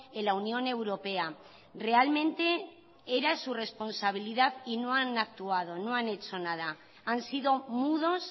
en la unión europea realmente era su responsabilidad y no han actuado no han hecho nada han sido mudos